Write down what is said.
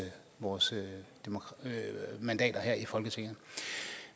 vores mandater her i folketinget